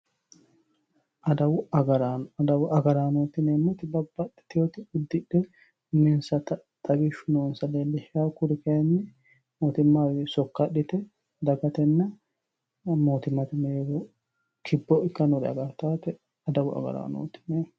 Adawu agarraano, adawu agarraano yineemmoti babbaxitewoti udidhe uminsatta xawishu noonsatta leellishano kuri kayinni mootimmawi sokka adhite dagatenna mootimmate mereero kipho ikkanore agarittate adawu agarranoti yineemmo.